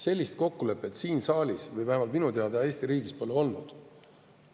Sellist kokkulepet minu teada siin saalis ega Eesti riigis pole olnud.